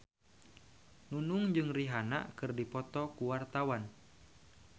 Nunung jeung Rihanna keur dipoto ku wartawan